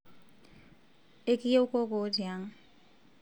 ekiyieu kokoo tiang